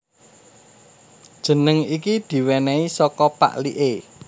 Jeneng iki diwènèhi saka pakliké